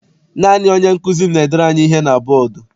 Naanị onye nkụzi m n'edere anyị ihe na bọdu.